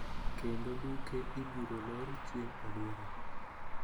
Kendo duke ibirolor chieng` odira